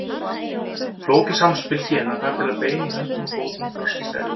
Flókið samspil gena þarf til að bein í höndum og fótum þroskist eðlilega.